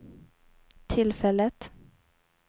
tillfället